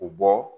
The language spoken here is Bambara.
U bɔ